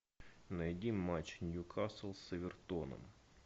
найди матч ньюкасл с эвертоном